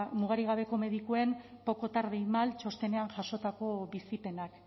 mugarik gabeko medikuen poco tarde y mal txostenean jasotako bizipenak